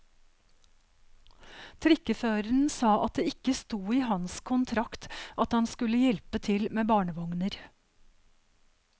Trikkeføreren sa at det ikke sto i hans kontrakt at han skulle hjelpe til med barnevogner.